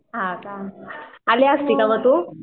हां का आली असती का मग तू?